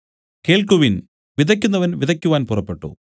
കേൾക്കുവിൻ വിതയ്ക്കുന്നവൻ വിതയ്ക്കുവാൻ പുറപ്പെട്ടു